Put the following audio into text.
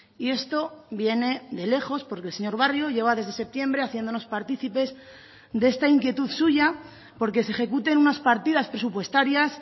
y esto viene de lejos porque el señor barrio lleva desde septiembre haciéndonos partícipes de esta inquietud suya porque se ejecuten unas partidas presupuestarias